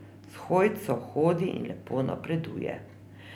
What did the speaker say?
S hojco hodi in lepo napreduje.